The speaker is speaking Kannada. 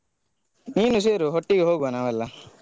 ನೀನು ಸೇರು ಒಟ್ಟಿಗೆ ಹೋಗುವ ನಾವೆಲ್ಲಾ.